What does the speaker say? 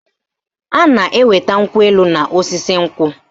A na-enweta nkwụ elu n'osisi nkwụ